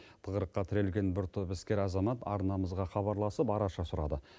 тығырыққа тірелген бір топ іскер азамат арнамызға хабарласып араша сұрады